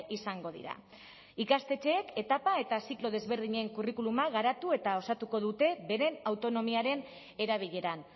izango dira ikastetxeek etapa eta ziklo desberdinen curriculuma garatu eta osatuko dute beren autonomiaren erabileran